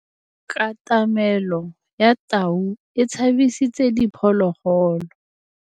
Katamêlô ya tau e tshabisitse diphôlôgôlô.